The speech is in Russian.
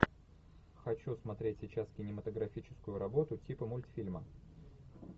хочу смотреть сейчас кинематографическую работу типа мультфильма